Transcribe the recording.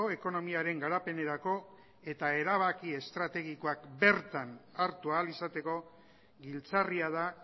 ekonomiaren garapenerako eta erabaki estrategikoak bertan hartu ahal izateko giltzarria da